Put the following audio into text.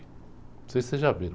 Não sei se vocês já viram.